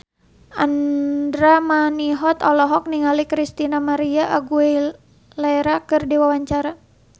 Andra Manihot olohok ningali Christina María Aguilera keur diwawancara